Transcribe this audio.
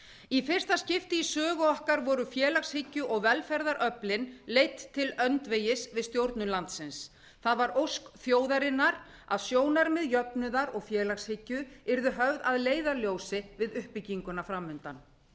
í fyrsta skipti í sögu okkar voru félagshyggju og velferðaröflin leidd til öndvegis við stjórnun landsins það var ósk þjóðarinnar að sjónarmið jöfnuðar og félagshyggju yrðu höfð að leiðarljósi við uppbygginguna fram undan